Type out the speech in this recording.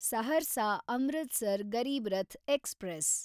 Saharsa Amritsar Garib Rath express